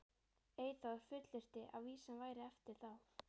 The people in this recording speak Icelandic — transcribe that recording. Eyþór fullyrti að vísan væri eftir þá